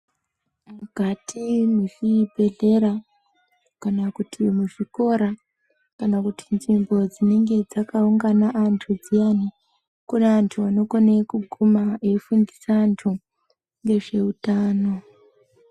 Mukati mwezvibhedhlera, kana kuti muzvikora, kana kuti nzimbo dzinenge dzakaungana antu dziyani, kune antu anokone kuguma ,eifundisa antu, ngezveutano.